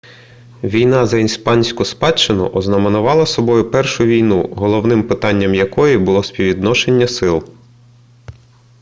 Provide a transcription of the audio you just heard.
війна за іспанську спадщину ознаменувала собою першу війну головним питанням якої було співвідношення сил